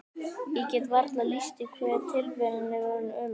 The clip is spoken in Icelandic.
Ég get varla lýst því hve tilveran er orðin ömurleg.